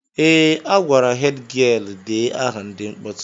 Ee, a gwara hed gịel dee aha ndị mkpọtụ